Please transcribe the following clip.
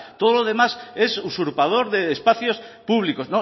todo lo demás es usurpador de espacios públicos